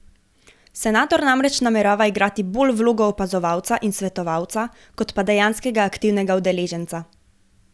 Senator namreč namerava igrati bolj vlogo opazovalca in svetovalca kot pa dejanskega aktivnega udeleženca.